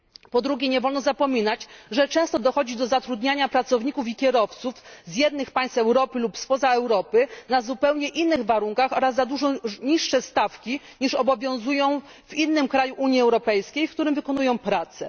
Po drugie, nie wolno zapominać, że często dochodzi do zatrudniania pracowników i kierowców z jednych państw UE lub spoza UE na zupełnie innych warunkach oraz za dużo niższe stawki niż obowiązują w kraju Unii Europejskiej, w którym wykonują pracę.